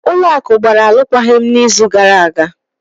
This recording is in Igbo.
Ụlọ akụ gbara alụkwaghịm n'izu gara aga.